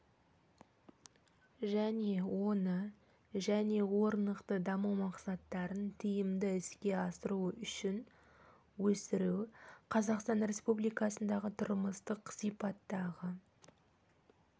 және оны және орнықты даму мақсаттарын тиімді іске асыру үшін өсіру қазақстан республикасындағы тұрмыстық сипаттағы